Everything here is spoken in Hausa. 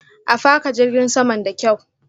A faka jirgin saman da kyaw.